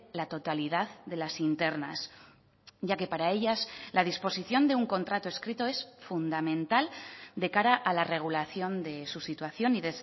la totalidad de las internas ya que para ellas la disposición de un contrato escrito es fundamental de cara a la regulación de su situación y